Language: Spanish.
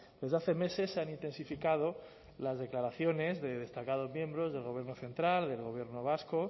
desde hace meses se han intensificado las declaraciones de destacados miembros del gobierno central del gobierno vasco